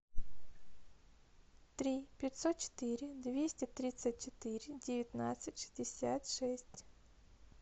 три пятьсот четыре двести тридцать четыре девятнадцать шестьдесят шесть